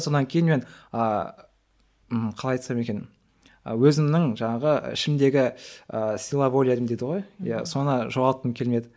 сонан кейін мен ааа қалай айтсам екен өзімнің жаңағы ішімдегі ы сила волям дейді ғой соны жоғалтқым келмеді